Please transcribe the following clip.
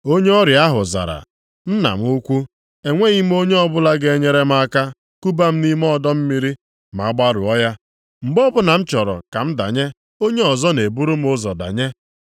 Onye ọrịa ahụ zara, “Nna m ukwu, enweghị m onye ọbụla ga-enyere m aka kuba m nʼime ọdọ mmiri a ma a gbarụọ ya, mgbe o bụla m chọrọ ka m danye, onye ọzọ na-eburu m ụzọ danye.”